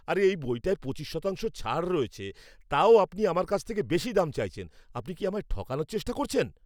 আরে! এই বইটায় পঁচিশ শতাংশ ছাড় রয়েছে, তাও আপনি আমার কাছ থেকে বেশি দাম চাইছেন। আপনি কি আমায় ঠকানোর চেষ্টা করছেন?